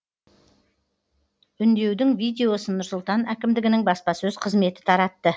үндеудің видеосын нұр сұлтан әкімдігінің баспасөз қызметі таратты